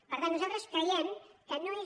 per tant nosaltres creiem que no és